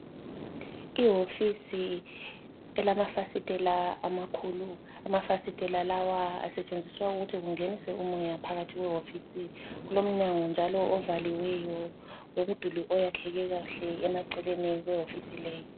Iwofisi elamafisitela amakhulu, amafasitela lawa asetshenziswa ukuthi kungenise umoya phakathi kwewofisi, kulomnyango njalo ovaliweyo lomduli oyakheke kahle emaceleni kwewofisi leyi.